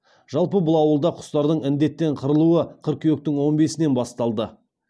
жалпы бұл ауылда құстардың індеттен қырылуы қыркүйектің он бесінен басталды